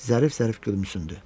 Zərif-zərif gülümsündü.